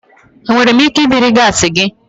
Enwere m ike ibiri gaasi gị?